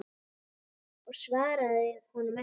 Ég svaraði honum ekki.